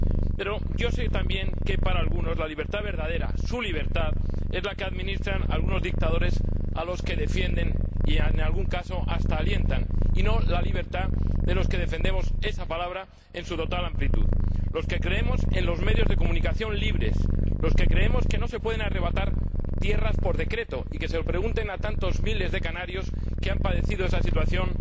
Pero yo sé también que para algunos la libertad verdadera, su libertad, es la que administran algunos dictadores a los que defienden y, en algún caso, hasta alientan, y no la libertad de los que defendemos esa palabra en su total amplitud, los que creemos en los medios de comunicación libres, los que creemos que no se pueden arrebatar tierras por decreto, y que se lo pregunten a tantos miles de canarios que han padecido esa situación